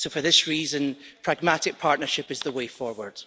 So, for this reason, pragmatic partnership is the way forward.